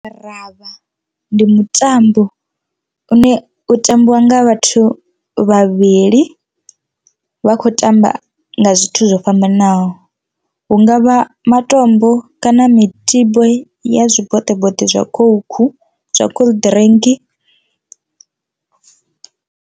Ravha ndi mutambo une u tambiwa nga vhathu vhavhili vha khou tamba nga zwithu zwo fhambanaho hungavha matombo kana mitibo ya zwiboṱeboṱe zwa coke zwa cold drink.